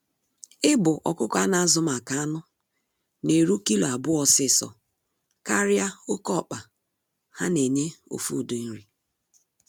Ịbụ ọkụkọ a na azụ maka anụ na-eru kilo abụọ ọsịsọ karịa oke ọkpa ha na enye ofu ụdị nri.